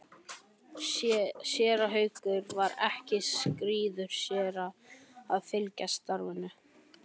Séra Haukur var ekki skírður séra en það fylgir starfinu.